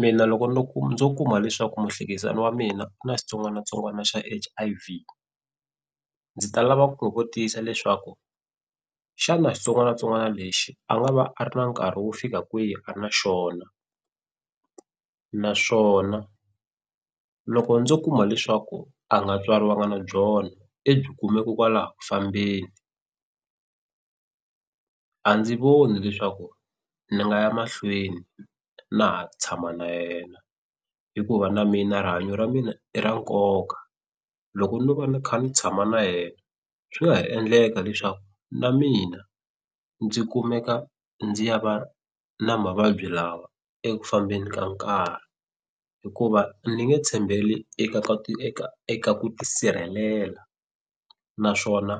Mina loko no ndzo kuma leswaku muhlekisani wa mina ku na xitsongwatsongwana xa H_I_V ndzi ta lava ku kotisa leswaku xana xitsongwatsongwana lexi a nga va a ri na nkarhi wo fika kwihi a ri na xona naswona loko ndzo kuma leswaku a nga tswariwanga na byona i byi kume ko kwalaho ku fambeni a ndzi voni leswaku ni nga ya mahlweni na ha tshama na yena hikuva na mina rihanyo ra mina i ra nkoka loko no va ni kha ni tshama na yena swi nga ha endleka leswaku na mina ndzi kumeka ndzi ya va na mavabyi lawa eku fambeni ka nkarhi hikuva ni nge tshembeli eka eka ku tisirhelela naswona